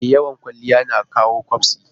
E, yawan kwaliya na jawo ƙyabsi.